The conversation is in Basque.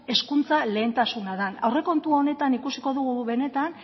hezkuntza lehentasuna den aurrekontu honetan ikusiko dugu benetan